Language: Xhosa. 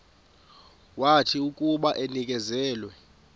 wathi akuba enikezelwe